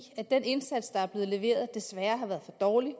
at den indsats der er blevet leveret desværre har været for dårlig